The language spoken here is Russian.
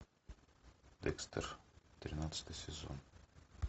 декстер тринадцатый сезон